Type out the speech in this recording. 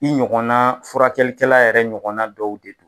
I ɲɔgɔnna furakɛlikɛla yɛrɛ ɲɔgɔn na dɔw de don